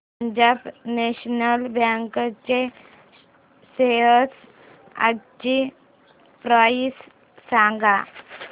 Punjab national bank च्या shares आजची price सांगा